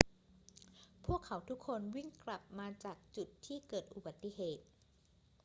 พวกเขาทุกคนวิ่งกลับมาจากจุดที่เกิดอุบัติเหตุ